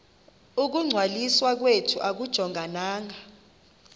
ukungcwaliswa kwethu akujongananga